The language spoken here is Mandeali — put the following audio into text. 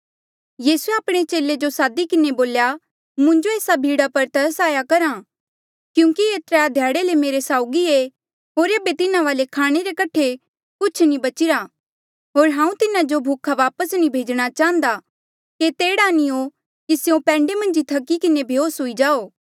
यीसूए आपणे चेले जो सादी किन्हें बोल्या मुंजो ऐस्सा भीड़ा पर तरस आया करहा आ क्यूंकि ये त्राय ध्याड़े ले मेरे साउगी ऐें होर ऐबे तिन्हा वाले खाणे रे कठे कुछ नी बचिरा होर हांऊँ तिन्हा जो भूखा वापस नी भेजणा चाहन्दा केते एह्ड़ा नी हो कि स्यों पैंडे मन्झ ई थकी किन्हें बेहोस हुई जाओ